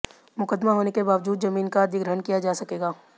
मुकदमा होने के बावजूद जमीन का अधिग्रहण किया जा सकेगा